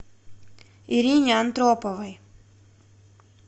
ирине антроповой